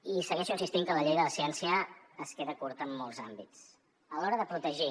i segueixo insistint que la llei de la ciència es queda curta en molts àmbits a l’hora de protegir